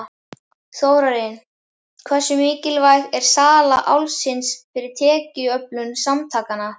Þórarinn, hversu mikilvæg er sala Álfsins fyrir tekjuöflun samtakanna?